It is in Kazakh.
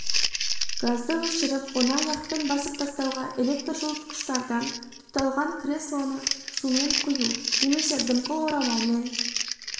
газды өшіріп оны аяқпен басып тастауға электр жылытқыштардан тұталған креслоны сумен құю немесе дымқыл орамалмен